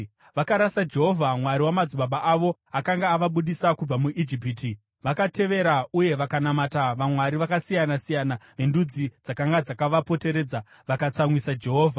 Vakarasa Jehovha, Mwari wamadzibaba avo, akanga avabudisa kubva muIjipiti. Vakatevera uye vakanamata vamwari vakasiyana-siyana vendudzi dzakanga dzakavapoteredza. Vakatsamwisa Jehovha,